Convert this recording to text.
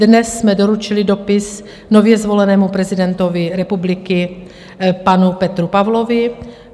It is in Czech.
Dnes jsme doručili dopis nově zvolenému prezidentovi republiky panu Petru Pavlovi.